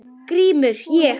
GRÍMUR: Ég?